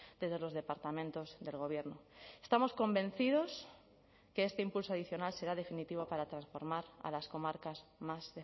desde los departamentos del gobierno estamos convencidos que este impulso adicional será definitivo para transformar a las comarcas más